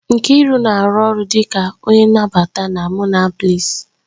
Nkiru na-arụ ọrụ dịka onye nnabata na Monabliss